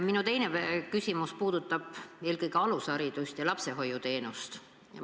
Minu teine küsimus puudutab eelkõige alusharidust ja lapsehoiuteenust.